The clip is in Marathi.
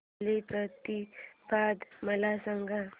बलिप्रतिपदा मला सांग